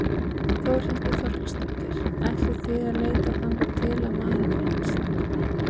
Þórhildur Þorkelsdóttir: Ætlið þið að leita þangað til að maðurinn finnst?